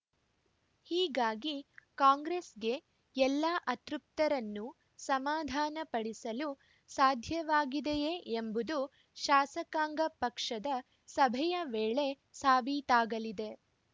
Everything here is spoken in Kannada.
ಹೀಗಾಗಿ ಕಾಂಗ್ರೆಸ್‌ಗೆ ಎಲ್ಲಾ ಅತೃಪ್ತರನ್ನು ಸಮಾಧಾನ ಪಡಿಸಲು ಸಾಧ್ಯವಾಗಿದೆಯೇ ಎಂಬುದು ಶಾಸಕಾಂಗ ಪಕ್ಷದ ಸಭೆಯ ವೇಳೆ ಸಾಬೀತಾಗಲಿದೆ